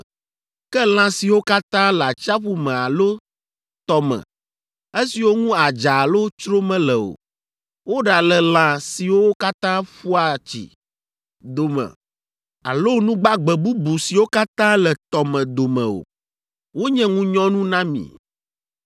Ke lã siwo katã le atsiaƒu me alo tɔ me esiwo ŋu adza alo tsro mele o, woɖale lã siwo katã ƒua tsi dome alo nu gbagbe bubu siwo katã le tɔ me dome o, wonye ŋunyɔnu na mi.